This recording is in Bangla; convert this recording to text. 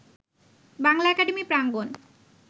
বাংলা একাডেমি প্রাঙ্গণ